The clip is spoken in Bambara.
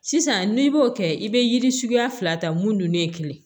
Sisan n'i b'o kɛ i bɛ yiri suguya fila ta mun dun ne ye kelen ye